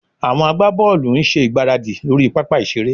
Àwọn agbábọ́ọ̀lù ń ṣe ìgbáradì lórí pápá ìṣeré